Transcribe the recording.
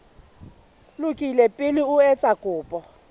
lokile pele o etsa kopo